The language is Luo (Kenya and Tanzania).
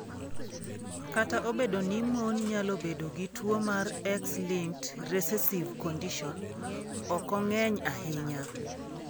Kata obedo ni mon nyalo bedo gi tuwo mar X-linked recessive condition, okong'eny ahinya.